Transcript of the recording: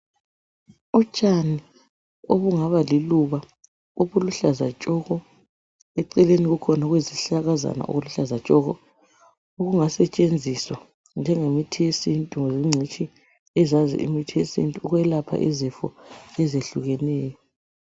Utshani obungaba liluba obuluhlaza tshoko. Eceleni kukhona okuyizihlakazana okuluhlaza tshoko okungasetshenziswa njengemithi yesintu ngabengcitshi eziyazi imithi yesintu ukwelapha izifo ezihlukehluekeneyo.